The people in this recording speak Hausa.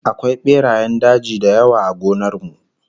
Akwai berayen daji da yawa a gonar mu